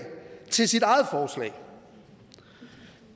til sit eget forslag